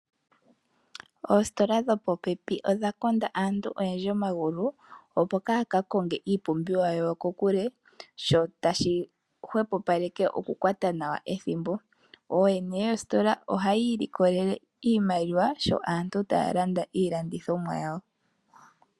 Oositola dho popepi odha konda aantu ogendji omagulu opo kaaya kakonge iipumbiwa yawo kokule. Sho tashi hwepopaleke okukwata nawa ethimbo. Ooyene yoositola oha ya ililokelele iimaliwa sho aantu taya landa iilandithomwa yawo.